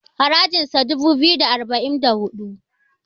harajinsa dubu biyu da arba'in da hudu